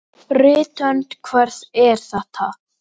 Rithönd hvers er þetta?